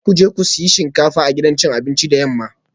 Za ku je ku sayi shinkafa a gidan cin abinci da yamma